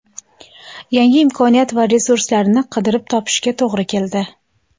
yangi imkoniyat va resurslarni qidirib topishga to‘g‘ri keldi.